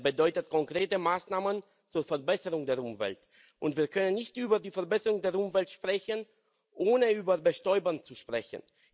Er bedeutet konkrete Maßnahmen zur Verbesserung der Umwelt. Und wir können nicht über die Verbesserung der Umwelt sprechen, ohne über Bestäuber zu sprechen.